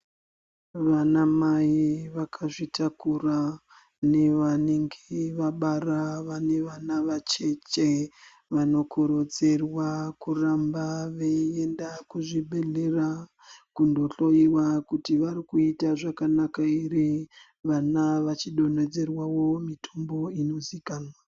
Vana mai vakazvitakura nevanenge vabara vanevana vacheche vanokurudzirwa kuramba veienda kuzvibhehlera kundohloiwa kuti varikuita zvakanaka ere vana vachidonhedzerwawo mitombo inoziikanwa.